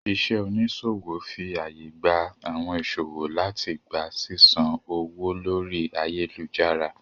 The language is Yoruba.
Iṣẹ́ oníṣòwò fi àyè gba àwọn ìṣòwò láti gba sísan owó lórí ayélujára